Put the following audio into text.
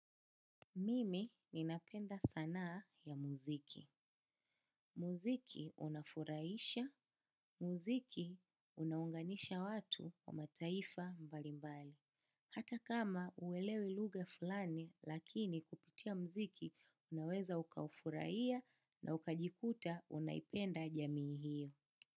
Mimi ninapenda sanaa ya muziki. Muziki unafurahisha, muziki unaunganisha watu wa mataifa mbali mbali. Hata kama huelewi lugha fulani lakini kupitia muziki unaweza ukaufurahia na ukajikuta unaipenda jamii hiyo.